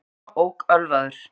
Annar þeirra ók ölvaður